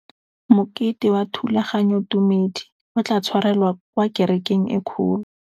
Mokete wa thulaganyôtumêdi o tla tshwarelwa kwa kerekeng e kgolo.